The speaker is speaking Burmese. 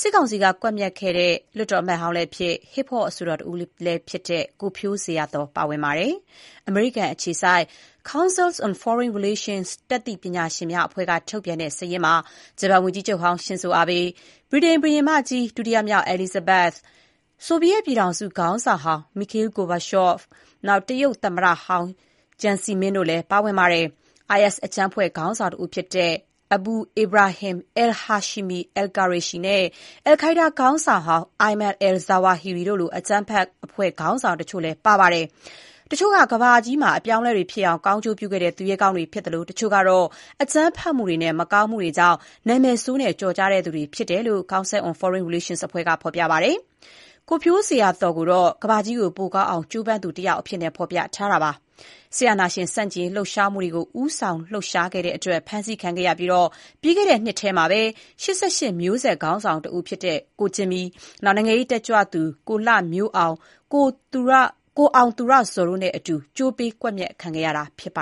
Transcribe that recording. စစ်ကောင်စီကကွပ်မျက်ခဲ့တဲ့ လွှတ်တော်အမတ်ဟောင်းလည်းဖြစ်၊ ဟစ်ဟော့အဆိုတော်တဦးလည်းဖြစ်တဲ့ ကိုဖြိုးဇေယျာသော်လည်း ပါဝင်ပါတယ်။ အမေရိကန်အခြေစိုက် Council on Foreign Relations တတ်သိပညာရှင်များအဖွဲ့ကထုတ်ပြန်တဲ့ ဒီစာရင်းမှာ ဂျပန်ဝန်ကြီးချုပ်ဟောင်း ရှင်ဇိုအာဘေး၊ ဗြိတိန်ဘုရင်မကြီး (ဒုတိယမြောက်) အဲလိဇဘက်၊ ဆိုဗီယက်ပြည်ထောင်စု ခေါင်းဆောင်ဟောင်း Mikhail Gorbachev ၊ တရုတ်သမ္မတဟောင်း Jiang Zemin တို့လည်းပါဝင်ပါတယ်။ IS အကြမ်းဖက်အဖွဲ့ ခေါင်းဆောင်တဦးဖြစ်တဲ့ Abu Ibrahim al-Hashimi al-Qurayshi နဲ့ Al-Qaeda ခေါင်းဆောင်ဟောင်း Ayman al-Zawahiri တို့လို အကြမ်းဖက်အဖွဲ့ ခေါင်းဆောင်တချို့လည်း ပါ ပါတယ်။ တချို့က ကမ္ဘာကြီးမှာအပြောင်းအလဲတွေဖြစ်အောင် ကောင်းကျိုးပြုခဲ့တဲ့သူရဲကောင်းတွေ ဖြစ်သလို တချို့ကတော့ အကြမ်းဖက်မှုတွေနဲ့ မကောင်းမှုတွေကြောင့် နာမည်ဆိုးနဲ့ ကျော်ကြားသူတွေဖြစ်တဲ့အကြောင်း Council on Foreign Relations အဖွဲ့က ဖော်ပြပါတယ်။ ကိုဖြိုးဇေယျာ်သော်ကိုတော့ ကမ္ဘာကြီး ပိုကောင်းအောင် ကြိုးပမ်းသူတယောက် အဖြစ် ဖော်ပြထားပါတယ်။ စစ်အာဏာရှင်ဆန့်ကျင်ရေးလှုပ်ရှားမှုတွေကို ဦးဆောင်လှုပ်ရှားခဲ့တဲ့အတွက် ဖမ်းဆီးခံခဲ့ရပြီး ပြီးခဲ့တဲ့နှစ်ထဲမှာပဲ ၈၈ မျိုးဆက် ခေါင်းဆောင်တဦးဖြစ်တဲ့ ကိုဂျင်မီ၊ နိုင်ငံရေးတက်ကြွလှုပ်ရှားသူ ကိုလှမျိုးအောင်၊ ကိုအောင်သူရဇော်တို့နဲ့အတူ ကြိုးပေး ကွပ်မျက်ခံခဲ့ရတာ ဖြစ်ပ